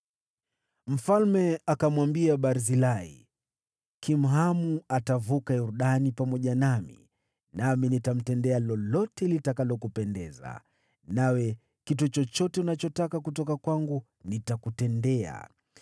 Mfalme akamwambia Barzilai, “Kimhamu atavuka Yordani pamoja nami, nami nitamtendea lolote litakalokupendeza. Nawe kitu chochote unachotaka kutoka kwangu nitakutendea.”